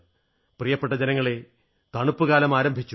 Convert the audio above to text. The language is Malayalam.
പ്രിയപ്പെട്ട ജനങ്ങളേ തണുപ്പുകാലം ആരംഭിച്ചു